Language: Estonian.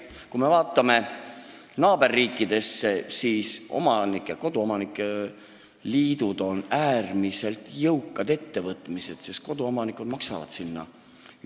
Kui me vaatame naaberriikidesse, siis näeme, et koduomanike liidud on äärmiselt jõukad ühendused, sest koduomanikud maksavad sinna raha.